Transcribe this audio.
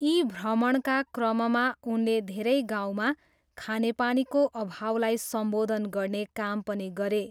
यी भ्रमणका क्रममा उनले धेरै गाउँमा खानेपानीको अभावलाई सम्बोधन गर्ने काम पनि गरे।